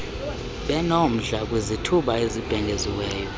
benomdla kwizithuba ezibhengeziweyo